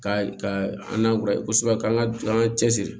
Ka ka an na kura ye kosɛbɛ k'an ka an ka cɛ siri